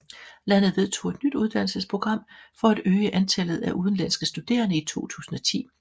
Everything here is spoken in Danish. Landet vedtog et nyt uddannelsesprogram for at øge antallet af udenlandske studerende i 2010